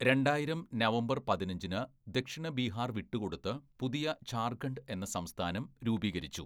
രണ്ടായിരം നവംബര്‍ പതിനഞ്ചിന് ദക്ഷിണ ബീഹാർ വിട്ടുകൊടുത്ത് പുതിയ ജാർഖണ്ഡ് എന്ന സംസ്ഥാനം രൂപീകരിച്ചു.